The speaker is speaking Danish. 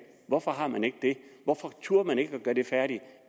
hvorfor har man ikke det hvorfor turde man ikke at gøre det færdigt